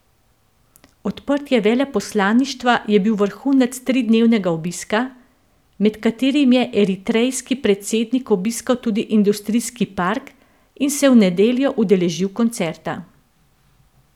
Odprtje veleposlaništva je bil vrhunec tridnevnega obiska, med katerim je eritrejski predsednik obiskal tudi industrijski park in se v nedeljo udeležil koncerta.